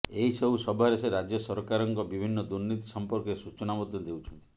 ଏହି ସବୁ ସଭାରେ ସେ ରାଜ୍ୟ ସରକାରଙ୍କ ବିଭିନ୍ନ ଦୁର୍ନୀତି ସମ୍ପର୍କରେ ସୂଚନା ମଧ୍ୟ ଦେଉଛନ୍ତି